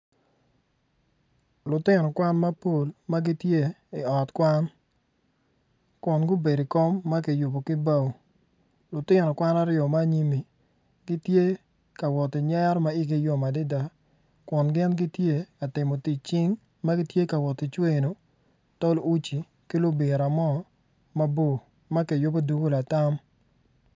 Lutino kwan mapol magitye i ot kwan kun gubedi ikom ma kiyubo ki bao lutino kwan aryo ma anyimi gitye kawot ki nyero ma igi yom adada kun gin gitye katimo tic cing ma gitye kawot kicweno tol uci kilubira mo mabor ma kiyubo dugu latam